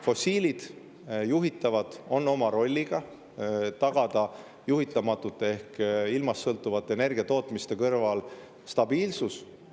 Fossiilidel, juhitavatel on oma roll: tagada juhitamatute ehk ilmast sõltuvate energiatootmiste kõrval stabiilsus.